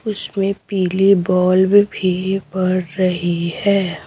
उसमें पीली बॉल्ब भी पड़ रही है।